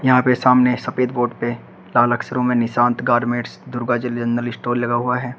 यहां पे सामने सफेद बोर्ड पे लाल अक्षरों में Nishant garments Durga ji general store लिखा हुआ है।